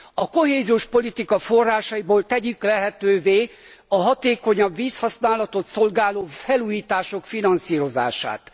A kohéziós politika forrásaiból tegyük lehetővé a hatékonyabb vízhasználatot szolgáló felújítások finanszírozását.